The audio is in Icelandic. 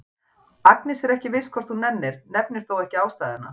Agnes er ekki viss hvort hún nennir, nefnir þó ekki ástæðuna.